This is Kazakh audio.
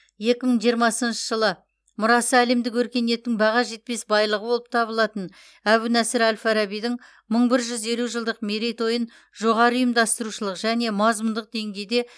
екі мың жиырмасыншы жылы мұрасы әлемдік өркениеттің баға жетпес байлығы болып табылатын әбу насыр әл фарабидің мың бір жүз елу жылдық мерейтойын жоғары ұйымдастырушылық және мазмұндық деңгейде